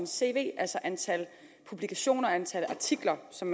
cv altså antal publikationer antal artikler som